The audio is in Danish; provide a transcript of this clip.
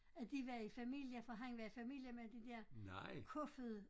At de var i familie for han var i familie med de der Kofoed